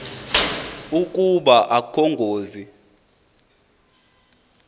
ukuba akukho ngozi